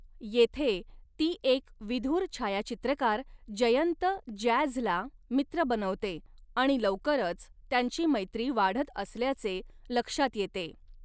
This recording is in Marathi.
येथे ती एक विधुर छायाचित्रकार जयंत 'जॅझ'ला मित्र बनवते आणि लवकरच त्यांची मैत्री वाढत असल्याचे लक्षात येते.